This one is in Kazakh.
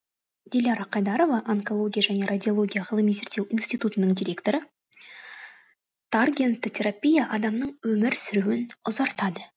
диляра қайдарова онкология және радиология ғылыми зерттеу институтының директоры таргентті терапия адамның өмір сүруін ұзартады